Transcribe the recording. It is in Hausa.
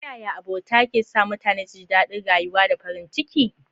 Ta yaya abota ke sa mutane su ji daɗin rayuwa da farin ciki?